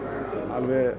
alveg